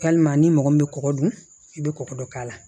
Walima ni mɔgɔ min bɛ kɔgɔ dun i bɛ kɔgɔ dɔ k'a la